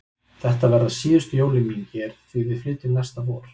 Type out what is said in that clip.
Þetta verða síðustu jólin mín hér því við flytjum næsta vor.